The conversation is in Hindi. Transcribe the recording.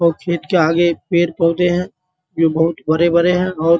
वो खेत के आगे एक पेड़-पौधे हैं जो बहुत बड़े-बड़े हैं और --